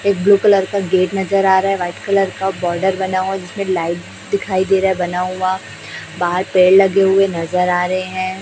एक blue colour का gate नजर आ रहा है व्हाइट कलर का बॉर्डर बना हुआ जिसमें लाइट दिखाई दे रहा है बना हुआ बाहर पेड़ लगे हुए नजर आ रहे हैं।